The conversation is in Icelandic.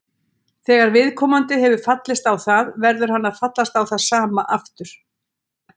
Þegar viðkomandi hefur fallist á það verður hann að fallast á það sama aftur.